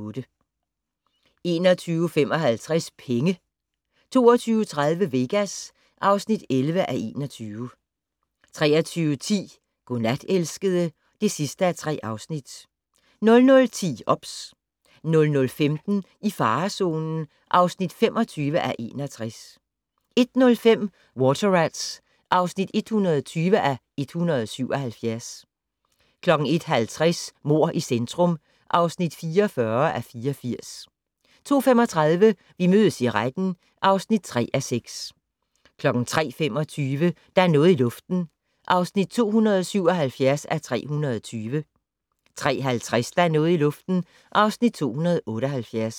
21:55: Penge 22:30: Vegas (11:21) 23:10: Godnat, elskede (3:3) 00:10: OBS 00:15: I farezonen (25:61) 01:05: Water Rats (120:177) 01:50: Mord i centrum (44:84) 02:35: Vi mødes i retten (3:6) 03:25: Der er noget i luften (277:320) 03:50: Der er noget i luften (278:320)